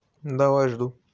давай жду